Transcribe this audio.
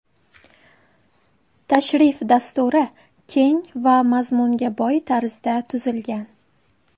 Tashrif dasturi keng va mazmunga boy tarzda tuzilgan.